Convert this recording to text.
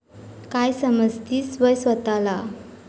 काय समजतीस व्हय स्वताला?